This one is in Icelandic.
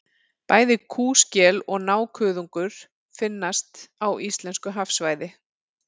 Bæði kúskel og nákuðungur finnast á íslensku hafsvæði.